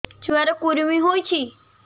ଛୁଆ ର କୁରୁମି ହୋଇଛି